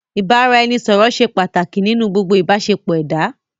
Ìbáraẹnisọ̀rọ̀ ṣé pàtàkì nínú gbogbo ìbáṣepọ̀ ẹ̀dá.